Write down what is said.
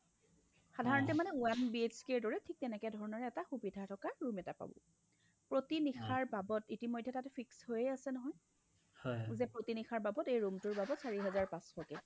সাধাৰণতে মানে one BHKৰ দৰে ঠিক তেনেকেধৰণৰ সুবিধা থকা room এটা পাব। প্ৰতিনিশাৰ বাবদ ইতিমধ্যে তাত fix হৈএ আছে নহয় যে প্ৰতিনিশাৰ বাবদ এই room টোৰ বাবদ চাৰি হাজাৰ পাচশকে